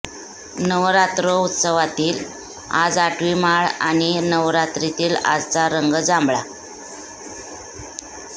नवरात्रौत्सवातील आज आठवी माळ आणि नवरात्रीतील आजचा रंग जांभळा